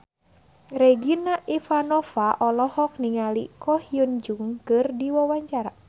Regina Ivanova olohok ningali Ko Hyun Jung keur diwawancara